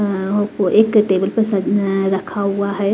अं एक टेबल पे रखा हुआ है।